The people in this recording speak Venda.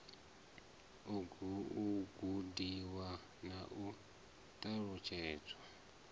u gudiwa na u ṱalutshedzwa